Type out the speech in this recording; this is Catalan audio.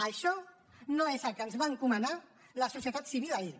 això no és el que ens va encomanar la societat civil ahir